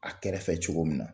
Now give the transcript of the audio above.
A kɛrɛfɛ cogo min na